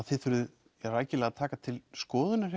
þið þurfið rækilega að taka til skoðunar